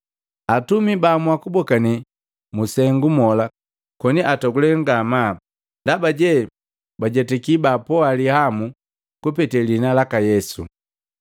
Atumi baamua kubokane mu sengu mola koni atogule ngamaa ndabaje bajetaki baapoa lihamu kupetee liina laka Yesu.